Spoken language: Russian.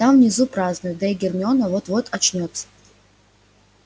там внизу празднуют да и гермиона вот-вот очнётся